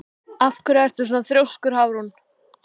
Af hverju ertu svona þrjóskur, Hafrún?